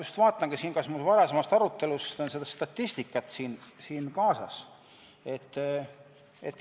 Ma vaatan, kas mul varasemast arutelust on seda statistikat siin kaasas.